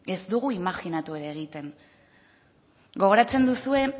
ez dugu imajinatu ere egiten gogoratzen duzue